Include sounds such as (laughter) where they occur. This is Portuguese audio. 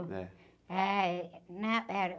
É.h, eh... (unintelligible)